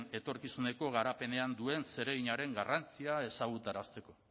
etorkizuneko garapenean duen zereginaren garrantzia ezagutarazteko